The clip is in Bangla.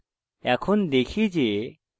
এখন দেখি যে এটি কিভাবে করে